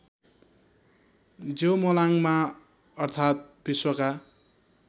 ज्योमोलाङमा अर्थात् विश्वका